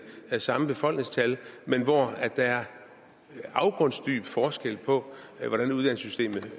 det samme befolkningstal men hvor der er en afgrundsdyb forskel på hvordan uddannelsessystemet